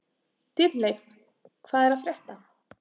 Dýrleif, hvað er að frétta?